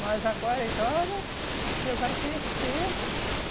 Mas agora, eita, olha, você vai crescer.